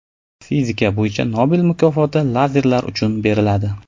Fizika bo‘yicha Nobel mukofoti lazerlar uchun beriladi.